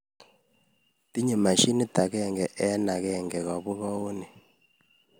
Tinyei mashinit agenge eng agenge kobugouni